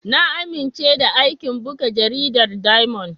Na amince da aikin buga jaridar Diamond.